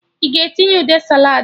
Ị ga-etinye ude saladị?